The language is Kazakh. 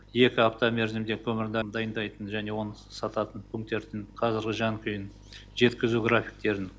екі апта мерзімде көмірді дайындайтын және оны сататын пунктердің қазіргі жан күйін жеткізу графиктерін